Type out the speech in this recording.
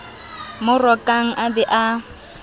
mo rokang a be a